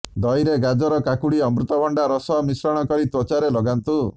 ଦହିରେ ଗାଜର କାକୁଡି ଅମୃତଭଣ୍ଡା ରସ ମିଶ୍ରଣ କରି ତ୍ୱଚାରେ ଲଗାନ୍ତୁ